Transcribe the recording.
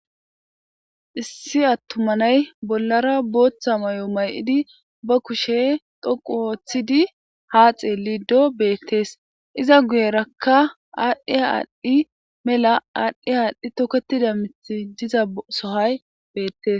Issi atuma na'ay bolara botha mayo ma'idi ba kushe dhoqu otidi ha xelido betes iza guyeraka adhi adhi mela adhi adhi toketida miti diza sohoy betes.